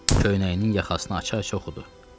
Köynəyinin yaxasını açaraq oxudu.